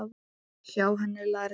Hjá henni lærði